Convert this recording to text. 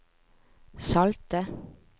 salte